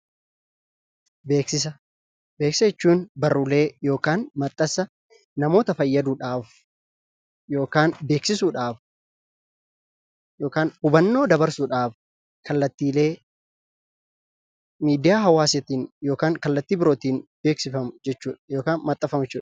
Beeksisa; beeksisa jechuun, barrulee(maaxxansa)namoota faayyaduudhaaf ykn beeksisuudhaaf (hubannoo) dabarsuudhaaf kallaattillee miidiyaa hawaasattin ykn kallaatti biroottin beeksiffamuu jechuudha. (Maaxxanfamuu) jechuudha.